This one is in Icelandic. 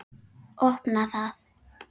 Opna það.